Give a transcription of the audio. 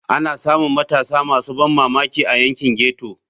Ana samun matasa masu ban mamaki a yankin ghetto.